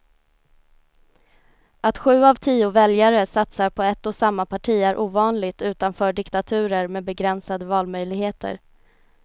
Att sju av tio väljare satsar på ett och samma parti är ovanligt utanför diktaturer med begränsade valmöjligheter.